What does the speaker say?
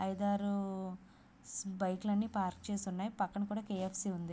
ఐదు ఆరు బైకులు అన్నీ పార్క్ చేసి ఉన్నాయి పక్కన కే.ఎఫ్.సి. ఉంది.